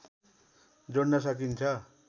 जोड्न सकिन्छ